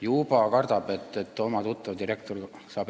Juba kardate, et äkki mõni tuttav direktor saab ...